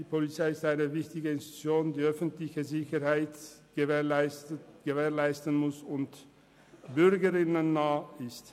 Die Polizei ist eine wichtige Institution, welche die öffentliche Sicherheit gewährleisten und den Bürgern und Bürgerinnen nahe sein soll.